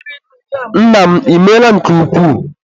Nna m, ịmeela nke ukwuu